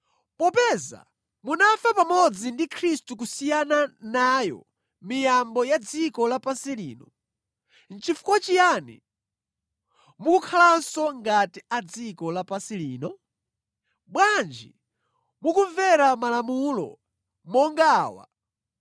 Popeza munafa pamodzi ndi Khristu kusiyana nayo miyambo ya dziko lapansi lino, nʼchifukwa chiyani mukukhalanso ngati a dziko lapansi lino? Bwanji mukumvera malamulo monga awa: